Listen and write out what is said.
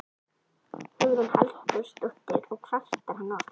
Hugrún Halldórsdóttir: Og kvartar hann oft?